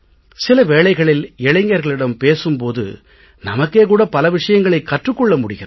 சில வேளைகளில் இளைஞர்களிடம் பேசும் போது நமக்கே கூட பல விஷயங்களைக் கற்றுக் கொள்ள முடிகிறது